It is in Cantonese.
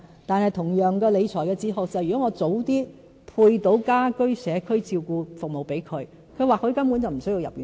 但是，同樣的理財哲學是，如果我及早為他們分配家居社區照顧服務，長者或許根本無須入院舍。